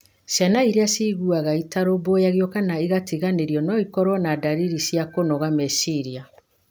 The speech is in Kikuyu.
Ciana iria ciiguaga itarũmbũiyo kana igatiganĩrio no ikorũo na ndariri cia kũnoga meciria.